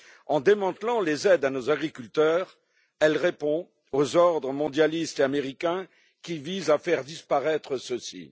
En démantelant les aides à nos agriculteurs, elle répond aux ordres mondialistes et américains qui visent à faire disparaître ceux ci.